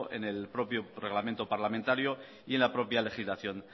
en el propio reglamento parlamentario y en la propia legislación